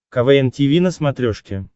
квн тиви на смотрешке